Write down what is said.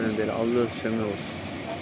Nə bilim belə, Allah özü kömək olsun.